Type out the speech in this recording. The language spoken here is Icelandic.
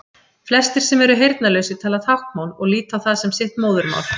flestir sem eru heyrnarlausir tala táknmál og líta á það sem sitt móðurmál